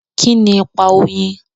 Kíni ipa oyin?